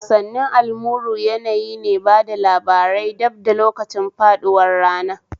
Wasanni almuru yanayi ne na bada labarai bad da lokacin faɗuwar rana